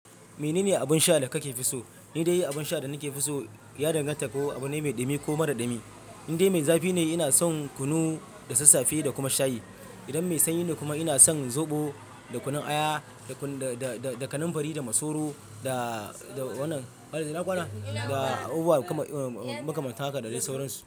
Menene abun sha da kafi so? Ni dai abun sha da nafi so ya danganta da ko abu ne mai dumi ko mara dumi. Indai mai zafi ne, ina son kunu da sassafe da kuma shayi. Idan mai sanyi ne kuma ina son zoɓo da kunun aya da, da, da kananfari da masoro da, da wannan. Ina ƙwana? Da abubuwa makamanta haka da dai sauransu.